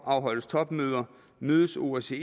afholdes topmøder mødes osce